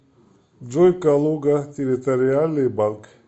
джой калуга территориальный банк